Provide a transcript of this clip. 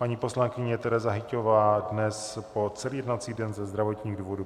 Paní poslankyně Tereza Hyťhová dnes po celý jednací den ze zdravotních důvodů.